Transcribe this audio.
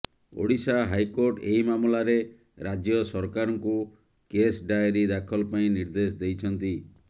Odisha high court ଏହି ମାମଲାରେ ରାଜ୍ୟ ସରକାରଙ୍କୁ କେସ୍ ଡାଏରୀ ଦାଖଲ ପାଇଁ ନିର୍ଦ୍ଦେଶ ଦେଇଛନ୍ତି